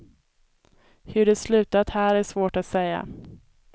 Hur det slutat här är svårt att säga.